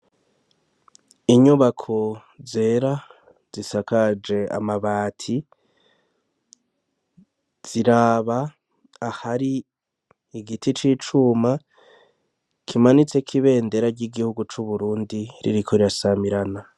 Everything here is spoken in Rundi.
Inyubako zera zisakaje amabati. Ziraba ahari igiti c'icuma, kimanitseko ibendera ry'igihugu c'uburundi, ririko rirasamirana.